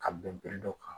Ka bɛn dɔ kan